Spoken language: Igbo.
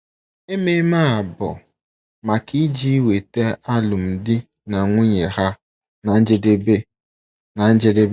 Ememe a bụ maka iji weta alụmdi na nwunye ha ná njedebe. ná njedebe.